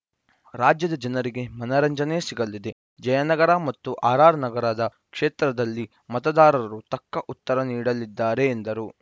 ರಾಜ್ಯದ ಜನರಿಗೆ ಮನರಂಜನೆ ಸಿಗಲಿದೆ ಜಯನಗರ ಮತ್ತು ಆರ್‌ಆರ್‌ನಗರ ಕ್ಷೇತ್ರದಲ್ಲಿ ಮತದಾರರು ತಕ್ಕ ಉತ್ತರ ನೀಡಲಿದ್ದಾರೆ ಎಂದರು